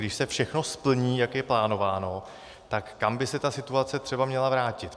Když se všechno splní, jak je plánováno, tak kam by se ta situace třeba měla vrátit.